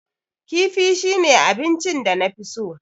Kifi shine abinchin danafi so.